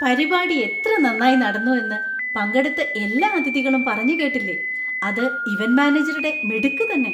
പരിപാടി എത്ര നന്നായി നടന്നു എന്ന് പങ്കെടുത്ത എല്ലാ അതിഥികളും പറഞ്ഞ കേട്ടില്ലേ, അത് ഇവന്‍റ് മാനേജരുടെ മിടുക്ക് തന്നെ.